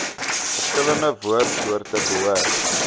verskillende woordsoorte behoort